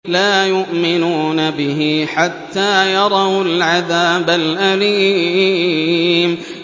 لَا يُؤْمِنُونَ بِهِ حَتَّىٰ يَرَوُا الْعَذَابَ الْأَلِيمَ